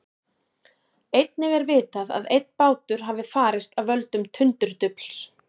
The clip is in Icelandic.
Einnig er vitað að einn bátur hafi farist af völdum tundurdufls.